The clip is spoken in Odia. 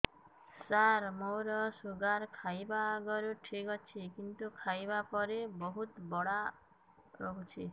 ସାର ମୋର ଶୁଗାର ଖାଇବା ଆଗରୁ ଠିକ ଅଛି କିନ୍ତୁ ଖାଇବା ପରେ ବହୁତ ବଢ଼ା ରହୁଛି